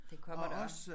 Det kommer der også